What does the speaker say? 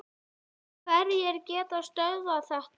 Hverjir geta stöðvað þetta?